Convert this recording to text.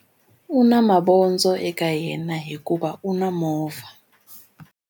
U na mavondzo eka yena hikuva u na movha.